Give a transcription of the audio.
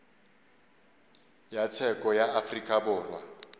ya tsheko ya afrika borwa